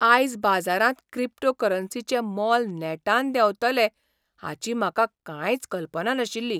आयज बाजारांत क्रिप्टोकरन्सीचें मोल नेटान देंवतलें हाची म्हाका कांयच कल्पना नाशिल्ली.